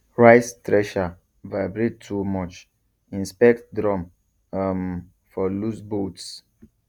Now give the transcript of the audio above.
rice thresher vibrate too much inspect drum um for loose bolts